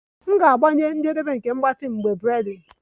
M ga-agbanye njedebe nke mgbatị m mgbe braiding